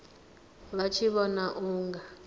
vha tshi vhona u nga